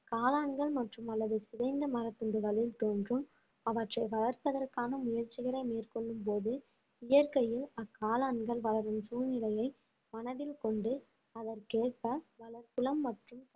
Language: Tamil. காளான்கள் மற்றும் அல்லது சிதைந்த மரத்துண்டுகளில் தோன்றும் அவற்றை வளர்ப்பதற்கான முயற்சிகளை மேற்கொள்ளும் போது இயற்கையில் அக்காளான்கள் வளரும் சூழ்நிலையை மனதில் கொண்டு அதற்கேற்ப மற்றும்